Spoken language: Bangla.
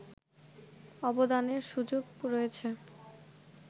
আবেদনের সুযোগ রয়েছে